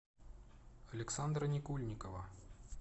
александра никульникова